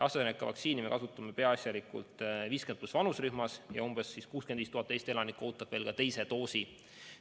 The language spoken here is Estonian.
AstraZeneca vaktsiini me kasutame peaasjalikult 50+ vanusrühmas ja umbes 65 000 Eesti elanikku ootab veel teist doosi.